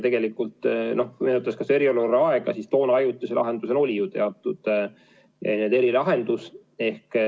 Tegelikult meenutaks seda eriolukorra aega – siis ju oli ajutise lahendusena teatud erilahendus.